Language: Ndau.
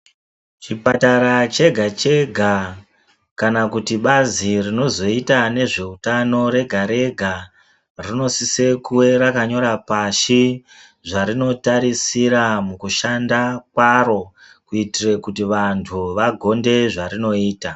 Chipatara chega chega kana kuti bazi rinozoita nezveutano rega rega rinosise kuve rakanyora pashi zvarinotarisira mukushanda kwaro kuitire kuti vantu vagonde zvarinoita.